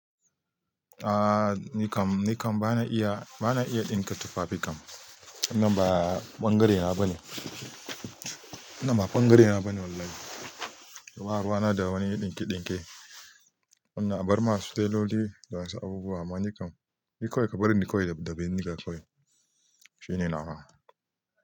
Ah nikam, nikam bana iya, bana iya ɗinka tufafi kam. Wannan ba ɓangare na bane, wannan ba ɓangare na bane wallahi. Ba ruwa na da wani dinke-dinke. Wannan abarma su tailoli da wayansu abubuwa, amma nikam, ni kawai ka barni ni kawai da bindiga kawai shine nawa.